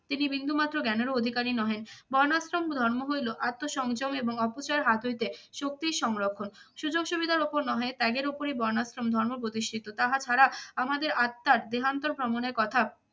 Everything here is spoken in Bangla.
তিনি বিন্দুমাত্র জ্ঞানেরও অধিকারী নহে। বর্ণাশ্রম ধর্ম হইল আত্ম সংযম এবং অপচয়ের হাত হইতে শক্তির সংরক্ষণ। সুযোগ সুবিধার উপর নহে ত্যাগের ওপরই বর্ণাশ্রম ধর্ম প্রতিষ্ঠিত। তাহা ছাড়া আমাদের আত্মার দেহান্তর ভ্রমণের কথা